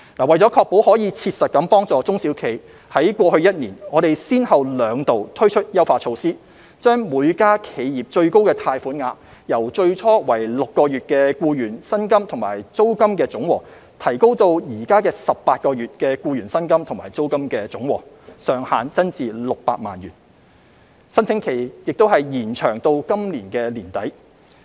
為確保可以切實幫助中小企，在過去一年，我們先後兩度推出優化措施，將每間企業最高貸款額，由最初訂為6個月的僱員薪金及租金的總和，提高至現時18個月的僱員薪金及租金的總和；上限增至600萬元，申請期亦已延長至今年年底。